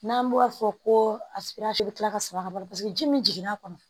N'an bɔr'a fɔ ko a bɛ tila ka sɔrɔ ka balo paseke ji min jigin n'a kɔnɔ